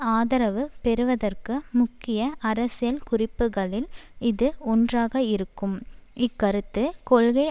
ஆதரவு பெறுவதற்கு முக்கிய அரசியல் குறிப்புக்களில் இது ஒன்றாக இருக்கும் இக்கருத்து கொள்கை